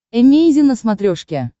эмейзин на смотрешке